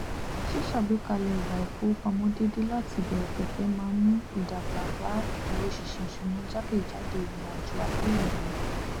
ṣíṣàgbékalẹ ìwà ìfowópamọ déédé láti ìbẹrẹ pẹpẹ máa n mú ìdàgbà bá ìdúróṣiṣi ìṣúná jákèjádò ìrìnàjò ayé ènìyàn